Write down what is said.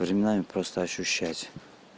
временами просто ощущать